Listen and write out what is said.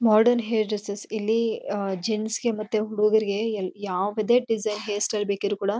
modern hair dressers ಇಲ್ಲಿ ಅಹ್ ಜೇಂಟ್ಸ್ಗೆ ಮತ್ತೆ ಹುಡಗುರ್ಗೆ ಏ ಯಾವದೇ ಡಿಸೈನ್ಸ್ ಹೇರ್ ಸ್ಟೈಲ್ ಬೇಕಿದ್ರೂ ಕೂಡ--